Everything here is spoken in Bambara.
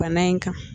Bana in kan